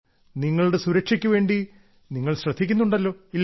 നിങ്ങളുടെ സുരക്ഷയ്ക്കു വേണ്ടി നിങ്ങൾ ശ്രദ്ധിക്കുന്നുണ്ടല്ലോ ഇല്ലേ